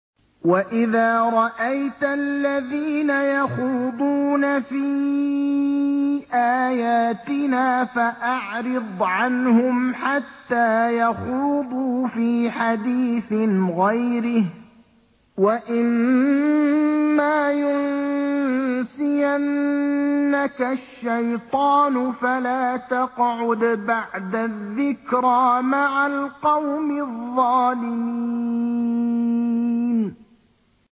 وَإِذَا رَأَيْتَ الَّذِينَ يَخُوضُونَ فِي آيَاتِنَا فَأَعْرِضْ عَنْهُمْ حَتَّىٰ يَخُوضُوا فِي حَدِيثٍ غَيْرِهِ ۚ وَإِمَّا يُنسِيَنَّكَ الشَّيْطَانُ فَلَا تَقْعُدْ بَعْدَ الذِّكْرَىٰ مَعَ الْقَوْمِ الظَّالِمِينَ